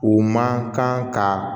U man kan ka